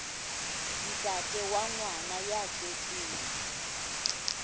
ntate wa ngwana ya tswetsweng